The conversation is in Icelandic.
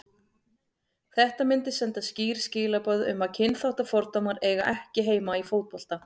Þetta myndi senda skýr skilaboð um að kynþáttafordómar eiga ekki heima í fótbolta.